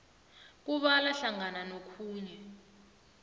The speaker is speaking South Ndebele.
kubala hlangana nokhunye